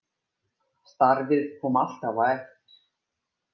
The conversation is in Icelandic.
Starfið kom alltaf á eftir.